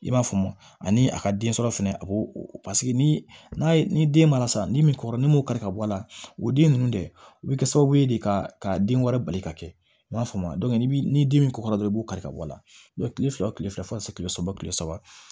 I b'a faamu ani a ka den sɔrɔ fɛnɛ a b'o paseke ni ye ni den mara sa ni min kɔrɔ ni m'o kari ka bɔ a la o den nunnu de bi kɛ sababu ye de ka den wɛrɛ bali ka kɛ i m'a faamu ni den min kɔkɔra dɔrɔn i b'o kari ka bɔ a la kile fila o kile fila fo ka se kile saba kile saba